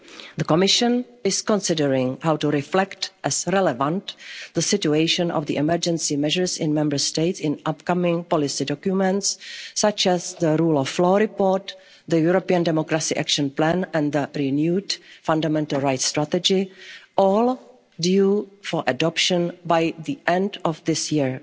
The Commission is considering how to reflect as relevant the situation of the emergency measures in Member States in upcoming policy documents such as the rule of law report, the European democracy action plan and the renewed fundamental rights strategy, all due for adoption by the end of